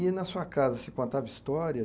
E na sua casa se contava história?